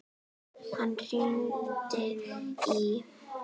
Hann hringdi í